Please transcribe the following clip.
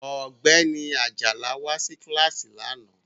Ọ̀gbẹ́ni Ajala wá sí kíláàsì lánàá